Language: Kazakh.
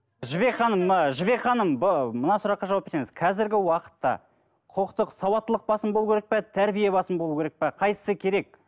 жібек ханым ы жібек ханым мына сұраққа жауап берсеңіз қазіргі уақытта құқықтық сауаттылық басым болу керек пе тәрбие басым болу керек пе қайсысы керек